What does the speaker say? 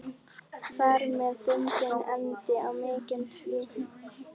Þar með bundinn endi á mikinn tvíverknað.